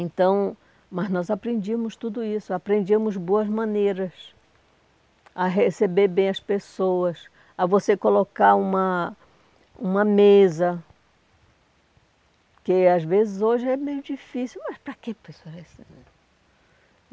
Então, mas nós aprendíamos tudo isso, aprendíamos boas maneiras a receber bem as pessoas, a você colocar uma uma mesa, que às vezes hoje é meio difícil, mas para quê?